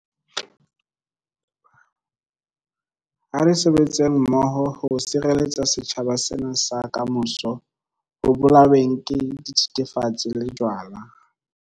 Ha re sebetseng mmoho ho sireletsa setjhaba sena sa kamoso ho bolaweng ke dithethefatsi le jwala.